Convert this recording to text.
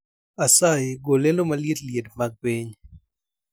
Asayi gol lendo maliet liet mag piny